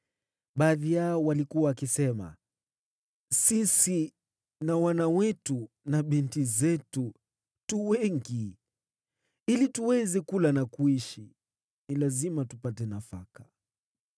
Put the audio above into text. Baadhi yao walikuwa wakisema, “Sisi na wana wetu na binti zetu tuko wengi. Ili tuweze kula na kuishi, ni lazima tupate nafaka.”